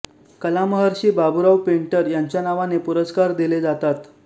कलामहर्षी बाबूराव पेंटर यांच्या नावाने पुरस्कार दिले जातात